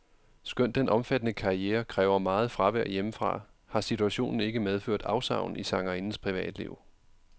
Skønt den omfattende karriere kræver meget fravær hjemmefra, har situationen ikke medført afsavn i sangerindens privatliv.